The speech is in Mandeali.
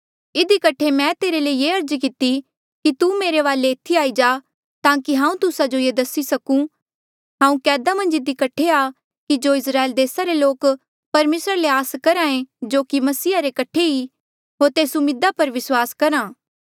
इधी कठे मैं तेरे ले ये अर्ज किती कि तू मेरे वाले एथी आई जा ताकि हांऊँ तुस्सा जो ये दसी सकूं हांऊँ कैदा मन्झ इधी कठे आ कि जो इस्राएल देसा रे लोक परमेसरा ले आस करहा ऐें जो की मसीहा रे कठे ई हांऊँ तेस उम्मीदा पर विस्वास करहा